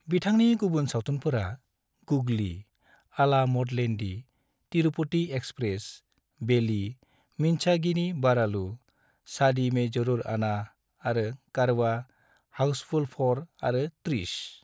बिथांनि गुबुन सावथुनफोरा गुगली, आला मोडलैंडी, तिरुपति एक्सप्रेस, बेली, मिंचगी नी बारालु, शादी में जरूर आना, आरो कारवां, हाउसफुल 4 आरो ट्रिश।